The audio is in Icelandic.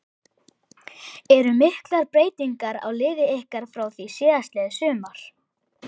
Eru miklar breytingar á liði ykkar frá því síðastliðið sumar?